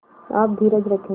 आप धीरज रखें